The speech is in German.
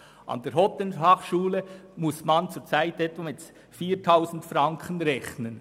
An der Hotelfachschule Thun muss man zurzeit mit etwa 4000 Franken rechnen.